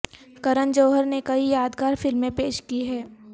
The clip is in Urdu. کرن جوہر نے کئی یادگار فلمیں پیش کی ہیں